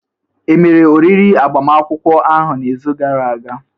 Emere oriri agbamakwụkwọ ahụ n'izu gara aga?